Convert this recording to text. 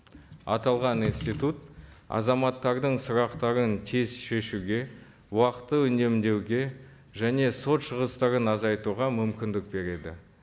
аталған институт азаматтардың сұрақтарын тез шешуге уақытты үнемдеуге және сот шығыстарын азайтуға мүмкіндік береді